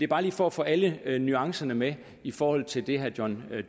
bare lige for at få alle alle nuancerne med i forhold til det herre john